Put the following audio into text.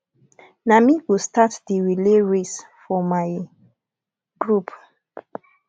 na me go start di relay race for my group